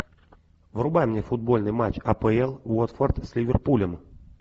врубай мне футбольный матч апл уотфорд с ливерпулем